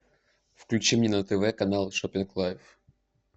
включи мне на тв канал шоппинг лайф